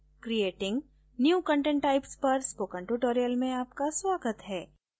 creating new content types पर spoken tutorial में आपका स्वागत है